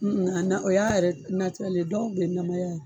Nu nana o y'a yɛrɛ dɔw bɛ namaya yan.